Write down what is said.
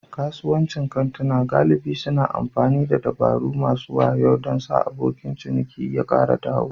Kasuwancin kantuna galibi suna amfani da dabaru masu wayo don sa abokan ciniki su kara dawo.